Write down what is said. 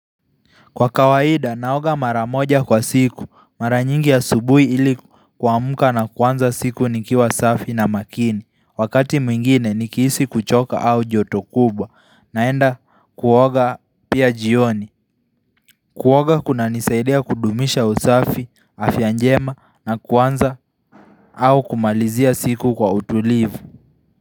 Kwa kawaida naoga mara moja kwa siku mara nyingi asubuhi ili kuamka na kuanza siku nikiwa safi na makini. Wakati mwingine nikihisi kuchoka au joto kubwa, naenda kuoga pia jioni Kuoga kunanisaidia kudumisha usafi afya njema na kuanza au kumalizia siku kwa utulivu.